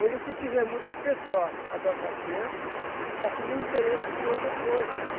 Hoje o que se vê é muitas pessoas adotando as crianças, mas com um interesse em outras coisas.